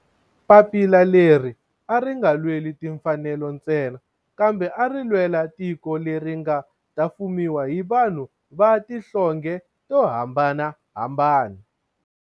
Papila leri a ri nga lweli timfanelo ntsena kambe ari lwela tiko leri nga ta fumiwa hi vanhu va tihlonge to hambanahambana.